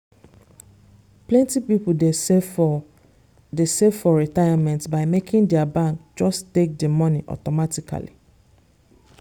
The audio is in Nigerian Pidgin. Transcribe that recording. plenty people dey save for dey save for retirement by making their bank just take the money automatically.